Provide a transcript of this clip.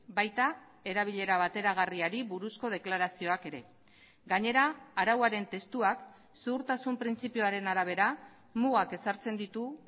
baita erabilera bateragarriari buruzko deklarazioak ere gainera arauaren testuak zuhurtasun printzipioaren arabera mugak ezartzen ditu